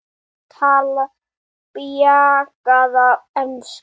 Ætlarðu að vera lengi úti?